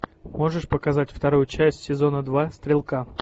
можешь показать вторую часть сезона два стрелка